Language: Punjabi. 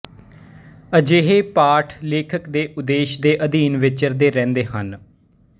ਅਜਿਹੇ ਪਾਠ ਲੇਖਕ ਦੇ ਉਦੇਸ਼ ਦੇ ਅਧੀਨ ਵਿਚਰਦੇ ਰਹਿੰਦੇ ਹਨ